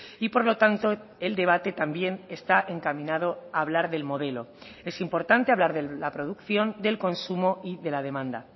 y por lo tanto el debate también está encaminado a hablar del modelo es importante hablar de la producción del consumo y de la demanda